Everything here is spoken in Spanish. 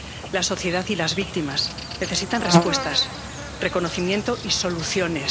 La sociedad y las víctimas necesitan respuestas, reconocimiento y soluciones.